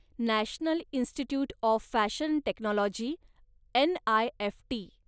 national institute of fashion technology, NIFT